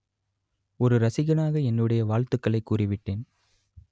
ஒரு ரசிகனாக என்னுடைய வாழ்த்துக்களை கூறி விட்டேன்